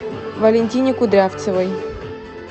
валентине кудрявцевой